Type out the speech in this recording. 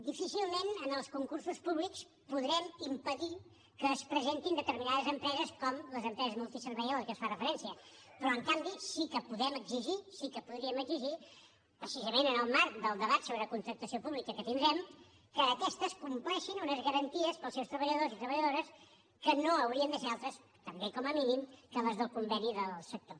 difícilment en els concursos públics podrem impedir que s’hi presentin determinades empreses com les empreses multiservei a la que es fa referència però en canvi sí que podem exigir sí que podríem exigir precisament en el marc del debat sobre contractació pública que tindrem que aquestes compleixin unes garanties per als seus treballadors i treballadores que no haurien de ser altres també com a mínim que les del conveni del sector